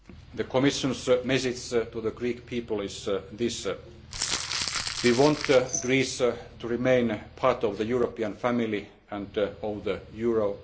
on Greece. The Commission's message to the Greek people is this we want Greece to remain part of the European family and of